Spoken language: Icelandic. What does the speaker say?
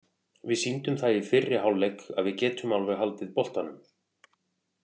Við sýndum það í fyrri hálfleik að við getum alveg haldið boltanum.